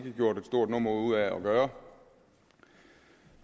gjort et stort nummer ud af at gøre